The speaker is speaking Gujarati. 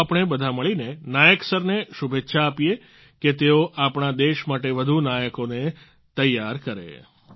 આવો આપણે બધા મળીને નાયક સરને શુભેચ્છા આપીએ કે તેઓ આપણા દેશ માટે વધુ નાયકોને તૈયાર કરે